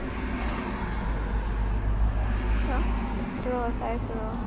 ৰ চাই আছো ৰ।